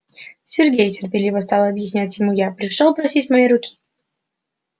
сергей терпеливо стала объяснять ему я пришёл просить моей руки